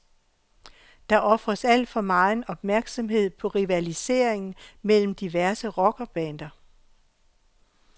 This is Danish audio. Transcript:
Der ofres al for megen opmærksomhed på rivaliseringen mellem diverse rockerbander.